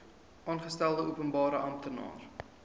aangestelde openbare amptenaar